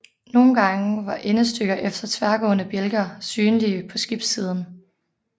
Nogen gange var endestykker efter tværgående bjælker synlige på skibssiden